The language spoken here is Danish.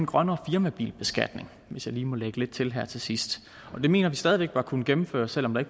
grønnere firmabilbeskatning hvis jeg lige må lægge lidt til her til sidst det mener vi stadig væk bør kunne gennemføres selv om der